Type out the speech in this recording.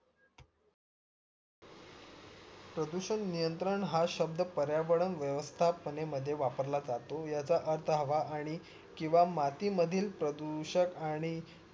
प्रदूषण नियंत्रण हा शब्ध पर्यावरण वेवस्था मध्ये वापरला जातो याचा अर्थ हवा आणि किंवा माती मधील प्रदूषक आणि